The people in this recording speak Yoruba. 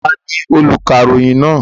Ta ni olùkàròyìn náà?